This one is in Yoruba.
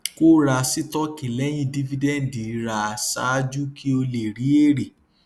kó ra sítọọkì lẹyìn dífídẹǹdì ra ṣáájú kí o lè rí èrè